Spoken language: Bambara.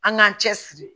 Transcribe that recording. An k'an cɛ siri